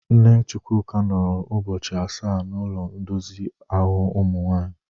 Nne Chukwuka nọrọ ụbọchị asaa n'ụlọ ndozi ụmụ nwanyị.